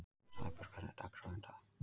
Sæbjörg, hvernig er dagskráin í dag?